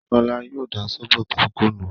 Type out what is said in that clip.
kọ́lá yóò da sóbó tó kù nù